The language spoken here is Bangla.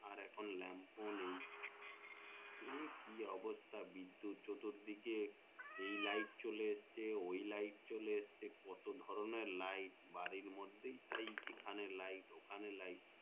আর এখন লম্ফো নেই সে কি অবস্থা বিদ্যুৎ চতুর দিকে এই light চলে আসছে ওই light চলে আসছে কত কি ধরণের light বাড়ির মধ্যে তাই এখেনে light ওখানে light